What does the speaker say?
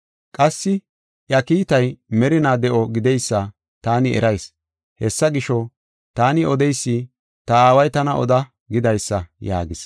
Qassi iya kiitay merinaa de7o gideysa taani erayis. Hessa gisho, taani odeysi ta Aaway tana oda gidaysa” yaagis.